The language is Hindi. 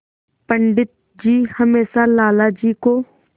पंडित जी हमेशा लाला जी को